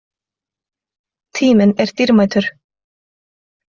Tíminn er dýrmætur